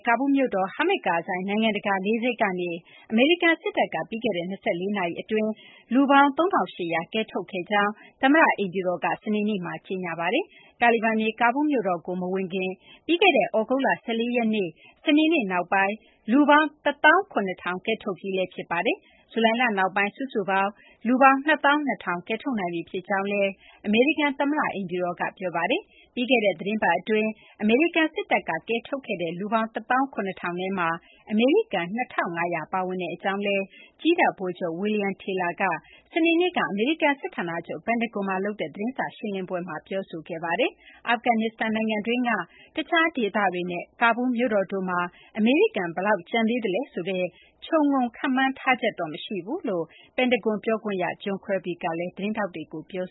ကာဘူးလ်မြို့ ဟာမစ်ဒ် ကာဇိုင်း နိုင်ငံတကာ လေဆိပ်ကနေ အမေရိကန် စစ်တပ်က ပြီးခဲ့တဲ့ ၂၄ နာရီ အတွင်း လူပေါင်း ၃,၈၀၀ ကယ်ထုတ်ခဲ့ကြောင်း သမ္မတ အိမ်ဖြူတော်က စနေနေ့မှာ ကြေညာပါတယ်။ တာလီဘန်တွေ ကာဘူးလ် မြို့တော်ကို မဝင်ခင် ပြီးခဲ့တဲ့ သြဂုတ်လ ၁၄ ရက်နေ့ စနေနေ့နောက်ပိုင်း လူပေါင်း ၁၇,၀၀၀ ကယ်ထုတ်ပြီးလည်း ဖြစ်ပါတယ်။ ဇူလိုင်လ နောက်ပိုင်း စုစုပေါင်း လူပေါင်း ၂၂,၀၀၀ ကယ်ထုတ်နိုင်ပြီး ဖြစ်ကြောင်းလည်း အမေရိကန် သမ္မတ အိမ်ဖြူတော်က ပြောပါတယ်။ ပြီးခဲ့တဲ့ သီတင်းပတ် အတွင်း အမေရိကန် စစ်တပ်က ကယ်ထုတ်ခဲ့တဲ့ လူပေါင်း ၁၇,၀၀၀ ထဲမှာ အမေရိကန် ၂,၅၀၀ ပါဝင်ကြောင်း ကြည်းတပ် ဗိုလ်ချုပ် William Taylor က စနေနေ့က အမေရိကန် စစ်ဌာနချုပ် ပင်တဂွန်မှာ လုပ်တဲ့ သတင်းစာ ရှင်းလင်းပွဲမှာ ပြောပါတယ်။ အာဖဂန်နစ္စတန် နိုင်ငံတွင်းက တခြား ဒေသတွေနဲ့ ကာဘူးလ်မြို့တော်တို့မှာ အမေရိကန် ဘယ်လောက် ကျန်သေးသလဲ ဆိုတဲ့ ခြုံငုံ ခန့်မှန်းထားချက် မရှိကြောင်း ပင်တဂွန် ပြောခွင့်ရ John Kirby က သတင်းထောက်တွေကို ပြော